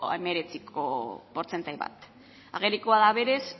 hemeretziko portzentai bat agerikoa da berez